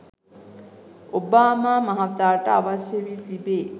Obama මහතාට අවශ්‍ය වී තිබේ.